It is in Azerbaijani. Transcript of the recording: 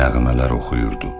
Bu növ növ nəğmələr oxuyurdu.